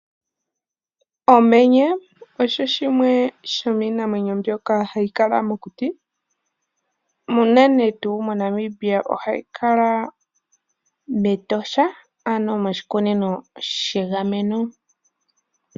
Omenye osho shimwe dhomiinamwenyo ndjoka hayi kala mokuti no moNamibia ohayi kala metosha ano moshikunino shiinamwenyo she gameno.